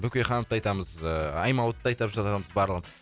бөкейхановты айтамыз ыыы аймауытовты айтып жатамыз барлығын